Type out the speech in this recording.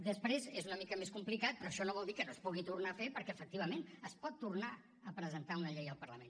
després és una mica més complicat però això no vol dir que no es pugui tornar a fer perquè efectivament es pot tornar a presentar una llei al parlament